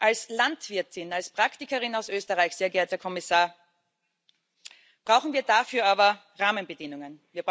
Als Landwirtin, als Praktikerin aus Österreich, sehr geehrter Kommissar, brauchen wir dafür aber Rahmenbedingungen.